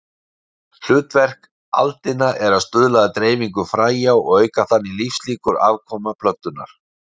Hlutverk aldina er að stuðla að dreifingu fræja og auka þannig lífslíkur afkvæma plöntunnar.